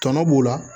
Tɔnɔ b'o la